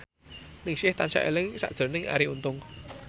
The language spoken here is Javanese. Ningsih tansah eling sakjroning Arie Untung